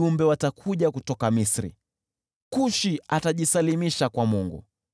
Wajumbe watakuja kutoka Misri, Kushi atajisalimisha kwa Mungu.